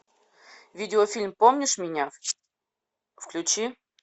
видеофильм помнишь меня включи